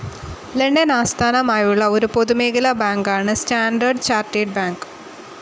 London ആസ്ഥാനമായുള്ള ഒരു പൊതുമേഖലാ ബാങ്കാണ് സ്റ്റാൻഡേർഡ്‌ ചാർട്ടേർഡ്‌ ബാങ്ക്.